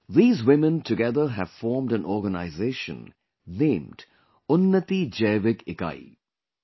These women together have formed an organization named 'Unnati Jaivik Ikai'